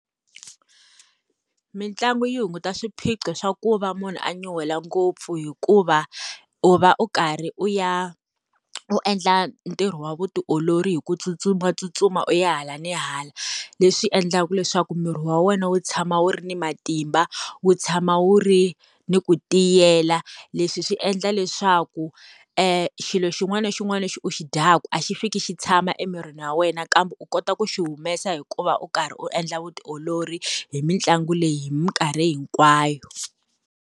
Mitlangu yi hunguta swiphiqo swa ku va munhu a nyuhela ngopfu, hikuva u va u karhi u ya u endla ntirho wa vutiolori hi ku tsutsumatsutsuma u ya hala ni hala. Leswi swi endlaka leswaku miri wa wena wu tshama wu ri ni matimba wu tshama wu ri ni ku tiyela. Leswi swi endla leswaku xilo xin'wana na xin'wana lexi u xi dyaka a xi fiki xi tshama emirini wa wena kambe u kota ku xi humesa hikuva u karhi u endla vutiolori hi mitlangu leyi hi minkarhi hinkwayo.